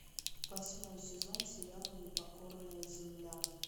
восьмой сезон сериала непокорная земля